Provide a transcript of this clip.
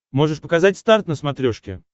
можешь показать старт на смотрешке